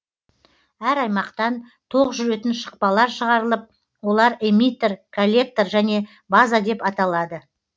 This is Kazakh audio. әр аймақтан тоқ жүретін шықпалар шығарылып олар эмиттер коллектор және база деп аталады